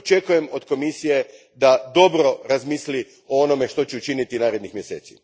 Očekujem od Komisije da dobro razmisli o onome što će učiniti narednih mjeseci.